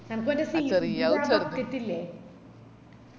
എനക്ക് മറ്റേ sea food ന്ടെ ആ bucket ഇല്ലേ